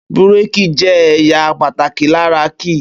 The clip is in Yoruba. Búrèkì jẹ́ èyà pàtàkì lára ki